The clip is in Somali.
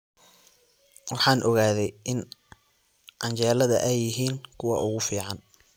Waxaan ogaaday in canjeelada ay yihiin kuwa ugu fiican